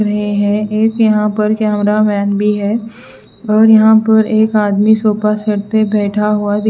रहे हैं एक यहां पर कैमरामैन भी है और यहां पर एक आदमी सोफा सेट पे बैठा हुआ दी--